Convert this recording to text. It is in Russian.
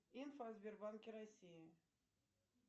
инфо о сбербанке россии